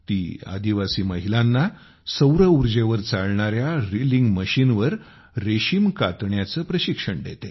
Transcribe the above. ती आदिवासी महिलांना सौरऊर्जेवर चालणाऱ्या रीलिंग मशीनवर रेशीम कातण्याचे प्रशिक्षण देते